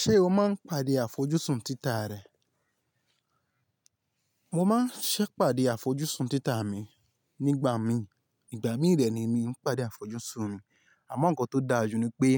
Ṣé o máa ń pàdé àfojúsùn títa rẹ? Mo máa ń ṣẹ pàdé àfojúsùn títa mi nígbà mi, ìgbà míì dẹ ni mi ń pàdé àfojúsùn mi. Àmọ́ ǹkan tó dáa jù ni pé